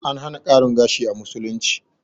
An hana ƙarin gashi a musulunci